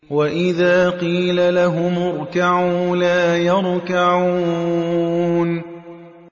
وَإِذَا قِيلَ لَهُمُ ارْكَعُوا لَا يَرْكَعُونَ